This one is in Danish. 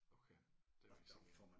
Okay det er faktisk ikke galt